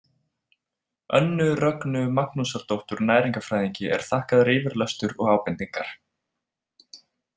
Önnu Rögnu Magnúsardóttur næringarfræðingi er þakkaður yfirlestur og ábendingar.